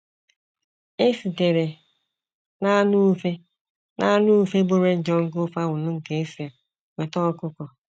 E sitere n’anụ ufe n’anụ ufe bụ́ red jungle fowl nke Esia nweta ọkụkọ.